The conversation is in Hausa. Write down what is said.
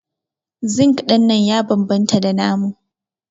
Zinc dinnan ya bambanta da namu.